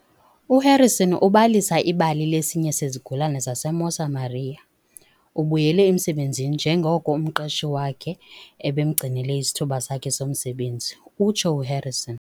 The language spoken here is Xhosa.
"U-Harrison ubalisa ibali lesinye sezigulana zaseMosa maria. Ubuyele emsebenzini njengoko umqeshi wakhe ebemgcinele isithuba sakhe somsebenzi," utsho uHarrison.